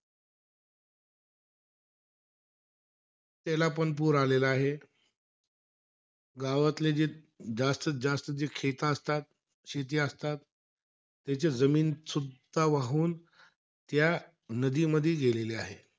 त्यालापण पूर आलेला आहे. गावातले जे जास्तत-जास्त जे असतात, शेती असतात. त्याची जमीनसुद्धा वाहून त्या नदीमध्ये गेलेली आहे.